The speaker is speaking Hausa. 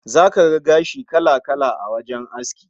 Zaka ga gashi kala-kala a wajen aski